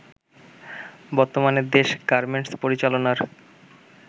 বর্তমানে দেশ গার্মেন্টস পরিচালনার